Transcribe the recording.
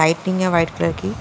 lightning है white colour की--